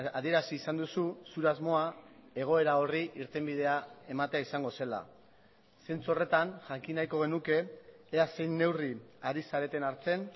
adierazi izan duzu zure asmoa egoera horri irtenbidea ematea izango zela zentzu horretan jakin nahiko genuke ea zein neurri ari zareten hartzen